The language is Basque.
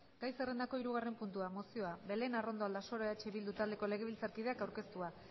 gai zerrendako hirugarren puntua mozioa belén arrondo aldasoro eh bildu taldeko legebiltzarkideak aurkeztua